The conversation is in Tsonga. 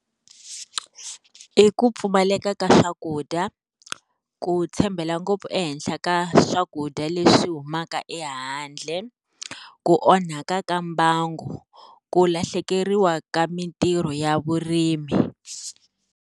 I ku pfumaleka ka swakudya, ku tshembela ngopfu ehenhla ka swakudya leswi humaka ehandle, ku onhaka ka mbangu, ku lahlekeriwa ka mitirho ya vurimi.